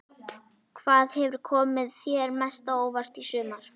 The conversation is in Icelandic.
Hvað hefur komið þér mest á óvart í sumar?